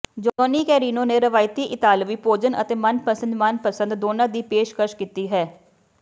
Johnny Carino ਨੇ ਰਵਾਇਤੀ ਇਤਾਲਵੀ ਭੋਜਨ ਅਤੇ ਮਨਪਸੰਦ ਮਨਪਸੰਦ ਦੋਨਾਂ ਦੀ ਪੇਸ਼ਕਸ਼ ਕੀਤੀ ਹੈ